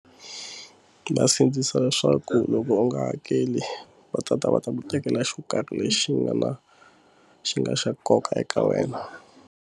Va sindzisa leswaku loko u nga hakeli va tata va ta ku tekela xo karhi lexi nga na xi nga xa nkoka eka wena.